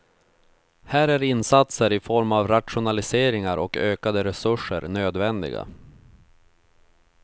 Här är insatser i form av rationaliseringar och ökade resurser nödvändiga.